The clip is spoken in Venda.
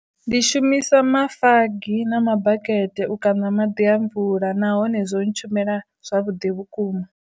Ndi shumisa mafagi na mabakete u kana maḓi a mvula nahone zwo ntshumela zwavhuḓi vhukuma.